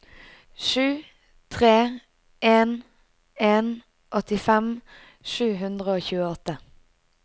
sju tre en en åttifem sju hundre og tjueåtte